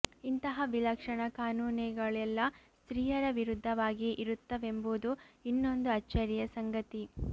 ಇಂತಹ ವಿಲಕ್ಷಣ ಕಾನೂನೆಗಳೆಲ್ಲ ಸ್ತ್ರೀಯರ ವಿರುದ್ಧವಾಗಿಯೇ ಇರುತ್ತವೆಂಬುದು ಇನ್ನೊಂದು ಅಚ್ಚರಿಯ ಸಂಗತಿ